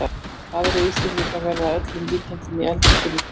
Aðrir Íslendingar verða að öllum líkindum í eldlínunni í kvöld.